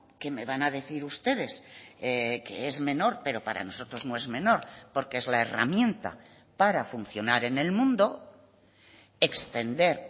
que me van a decir ustedes que es menor pero para nosotros no es menor porque es la herramienta para funcionar en el mundo extender